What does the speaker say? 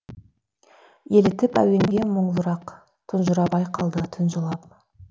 елітіп әуенге мұңлырақ тұнжырап ай қалды түн жылап